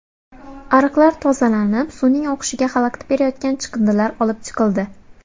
Ariqlar tozalanib, suvning oqishiga xalaqit berayotgan chiqindilar olib chiqildi.